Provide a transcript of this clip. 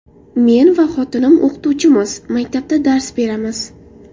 Men va xotinim o‘qituvchimiz, maktabda dars beramiz.